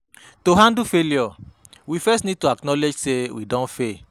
To handle failure we first need to acknowledge sey we don fail